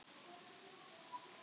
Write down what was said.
Stjáni flýtti sér að standa upp.